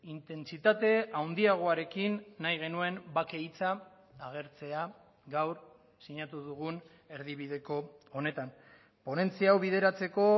intentsitate handiagoarekin nahi genuen bake hitza agertzea gaur sinatu dugun erdibideko honetan ponentzia hau bideratzeko